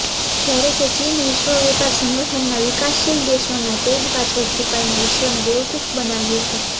જ્યારે કે ચીન વિશ્વ વેપાર સંગઠનના વિકાસશીલ દેશોના ટેગ પાછળ છુપાઈને વિશ્વને બેવકૂફ બનાવ્યું છે